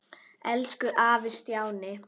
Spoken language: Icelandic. Elsku afi Stjáni.